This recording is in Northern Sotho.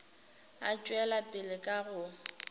a tšwela pele ka go